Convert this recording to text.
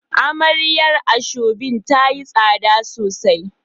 Amarya asoebi tayi tsada sosai